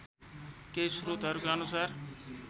केही स्रोतहरूका अनुसार